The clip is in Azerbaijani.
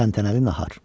Təntənəli nahar.